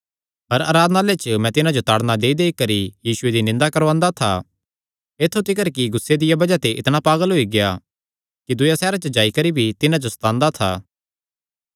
हर आराधनालय च मैं तिन्हां जो ताड़णा देईदेई करी यीशुये दी निंदा करवांदा था ऐत्थु तिकर कि गुस्से दिया बज़ाह ते इतणा पागल होई गेआ कि दूयेयां सैहरां च जाई करी भी तिन्हां जो सतांदा था